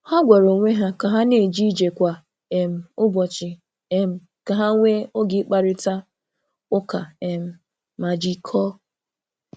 Ha gwara onwe ha ka ha na-eje ije kwa um ụbọchị um ka ha nwee oge ịkparịta ụka um ma jikọọ.